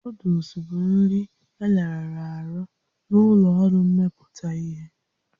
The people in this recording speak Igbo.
Noodụls bụ nri elarụrụ arụ na ụlọ ọrụ mmepụta ihe